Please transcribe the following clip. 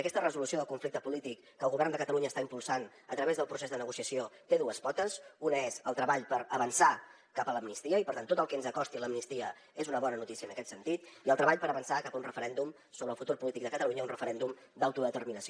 aquesta resolució del conflicte polític que el govern de catalunya està impulsant a través del procés de negociació té dues potes una és el treball per avançar cap a l’amnistia i per tant tot el que ens acosti a l’amnistia és una bona notícia en aquest sentit i el treball per avançar cap a un referèndum sobre el futur polític de catalunya un referèndum d’autodeterminació